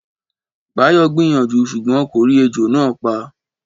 Báyọ̀ gbìyànjú ṣùgbọ́n kò rí ejò náà pa